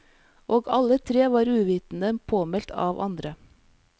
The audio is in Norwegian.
Og alle tre var uvitende påmeldt av andre.